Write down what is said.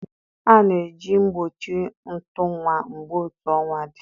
A na-eji ihe mgbochi ntu nwa mgbe otu ọnwa dị.